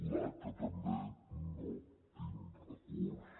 l’aca també no tinc recursos